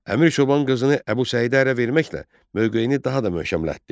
Əmir Çoban qızını Əbu Səidə ərə verməklə mövqeyini daha da möhkəmlətdi.